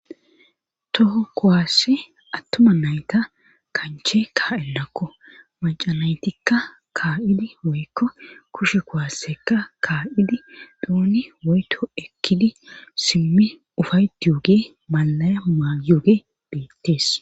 toho kowaasse attuma nayta kanche ka7ennakko macanaytikka kaa7idi woykko kushe kowaassekka kaa7idi dooni woyto ekkidi simmi ufayti yoge malaya maayoge deettees